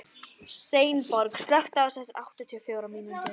Steinborg, slökktu á þessu eftir áttatíu og fjórar mínútur.